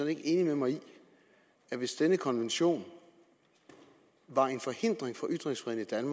ikke enig med mig i at hvis denne konvention var en forhindring for ytringsfriheden